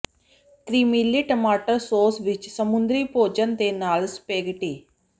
ਕ੍ਰੀਮੀਲੇ ਟਮਾਟਰ ਸਾਸ ਵਿੱਚ ਸਮੁੰਦਰੀ ਭੋਜਨ ਦੇ ਨਾਲ ਸਪੈਗੇਟੀ